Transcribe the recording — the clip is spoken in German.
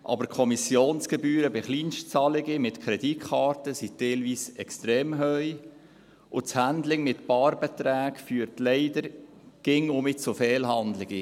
Aber die Kommissionsgebühren bei Kleinstzahlungen mit Kreditkarten sind teilweise extrem hoch, und das Handling mit Barbeträgen führt leider immer wieder zu Fehlhandlungen.